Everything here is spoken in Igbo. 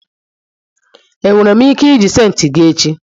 enwere m ike iji senti gi echi?